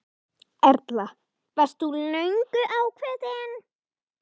Erla: Varst þú löngu ákveðinn?